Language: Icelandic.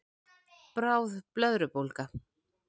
Bráð blöðrubólga